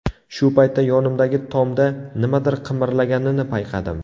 Shu paytda yonimdagi tomda nimadir qimirlaganini payqadim.